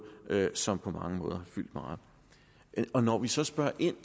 som på mange måder har fyldt meget når når vi så spørger ind